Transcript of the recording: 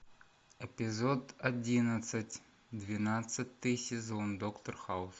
эпизод одиннадцать двенадцатый сезон доктор хаус